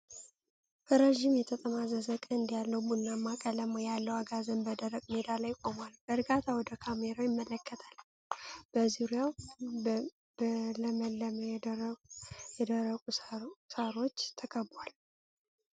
ረጅም የተጠማዘዘ ቀንድ ያለው፣ ቡናማ ቀለም ያለው አጋዘን በደረቅ ሜዳ ላይ ቆሟል። በእርጋታ ወደ ካሜራው ይመለከታል፣ በዙሪያው በለመለሙ የደረቁ ሳርዎች ተከብቧል።